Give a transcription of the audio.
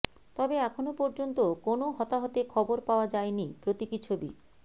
তবে এখনও পর্যন্ত কোনও হতাহতে খবর পাওয়া যায়নি প্রতীকী ছবি